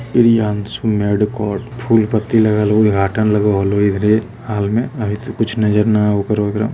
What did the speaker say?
Priyanshu medico और फूल पट्टी लागलु उद्द्घाटन लागु हॉल इधर हाल में अभी तो कुछ नज़र न आये ओकर वगैरह--